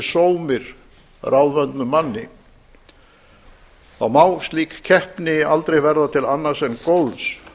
sómir ráðvöndum manni þá má slík keppni aldrei verða til annars enn góðs